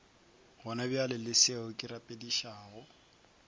gonabjale le seo ke rapedišago